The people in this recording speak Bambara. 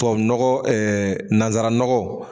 Tubabunɔgɔ nanzaranɔgɔ